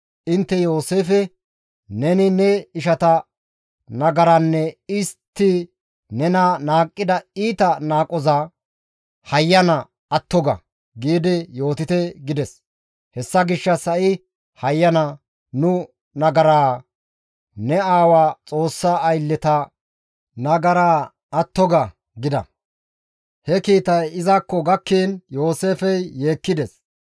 Intte Yooseefe, ‹Neni ne ishata nagaranne istti nena qohida iita qohoza hayyana atto ga› giidi yootite gides. Hessa gishshas ha7i hayyana, nu nagaraa, ne aawa Xoossa aylleta nagaraa atto ga» gida. He kiitay izakko gakkiin, Yooseefey yeekkides.